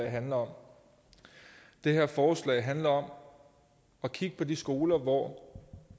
handler om det her forslag handler om at kigge på de skoler hvor